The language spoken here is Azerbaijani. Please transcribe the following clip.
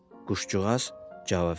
quşcuğaz cavab verdi.